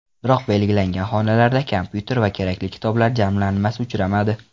Biroq belgilangan xonalarda kompyuter va kerakli kitoblar jamlanmasi uchramadi.